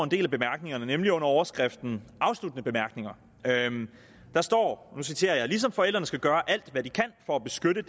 del af bemærkningerne nemlig under overskriften afsluttende bemærkninger der står og nu citerer jeg ligesom forældrene skal gøre alt hvad de kan for at beskytte